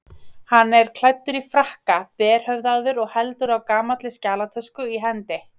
Hann er klæddur í frakka, berhöfðaður og heldur á gamalli skjalatösku í hendi.